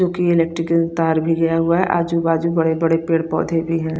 जो की इलेक्ट्रिकल तार भी गया हुआ है आजु बाजु बड़ी बड़े पेड़ पौधे भी है।